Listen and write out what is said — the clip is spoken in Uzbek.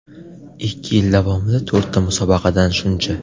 Ikki yil davomida to‘rtta musobaqadan shuncha.